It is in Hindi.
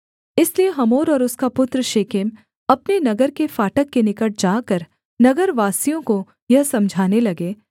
इसलिए हमोर और उसका पुत्र शेकेम अपने नगर के फाटक के निकट जाकर नगरवासियों को यह समझाने लगे